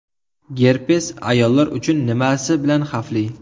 Gerpes ayollar uchun nimasi bilan xavfli?.